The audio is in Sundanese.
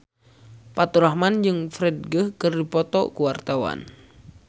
Faturrahman jeung Ferdge keur dipoto ku wartawan